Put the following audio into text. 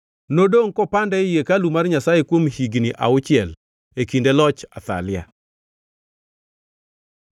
Nodongʼ kopande ei hekalu mar Nyasaye kuom higni auchiel e kinde loch Athalia.